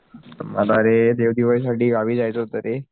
मला रे दीव दिवाळीसाठी गावी जायचं होत रे